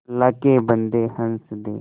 अल्लाह के बन्दे हंस दे